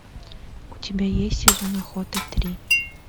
у тебя есть сезон охоты три